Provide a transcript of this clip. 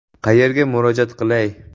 Qayerga murojaat qilay?